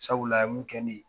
Sabula a ye mun kɛ ne ye